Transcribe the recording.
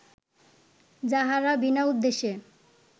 যাঁহারা বিনা উদ্দেশ্যে